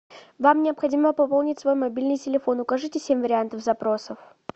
вам необходимо пополнить свой мобильный телефон укажите семь вариантов запросов